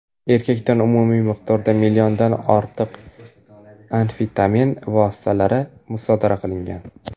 Erkakdan umumiy miqdorda milliondan ortiq amfetamin vositalari musodara qilingan.